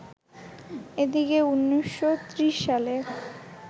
এদিকে ১৯৩০ সালে